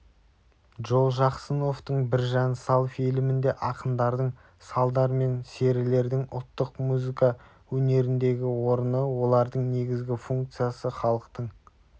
джолжақсыновтың біржан сал фильмінде ақындардың салдар мен серілердің ұлттық музыка өнеріндегі орны олардың негізгі функциясы халықтың